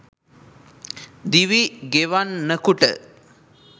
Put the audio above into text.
දිවි ගෙවන්නකුට